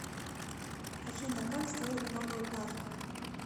афина как сделать новую карту